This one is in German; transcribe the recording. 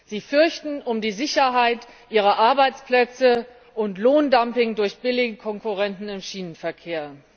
Sie fürchten um die Sicherheit ihrer Arbeitsplätze und befürchten Lohndumping durch billige Konkurrenten im Schienenverkehr.